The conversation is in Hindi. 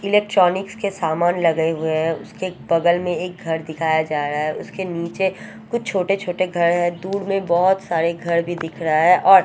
इलेक्ट्रॉनिक्स के सामान लगे हुए हैं उसके बगल में एक घर दिखाया जा रहा है उसके नीचे कुछ छोटे छोटे घर हैं दूर में बहोत सारे घर भी दिख रहा है और--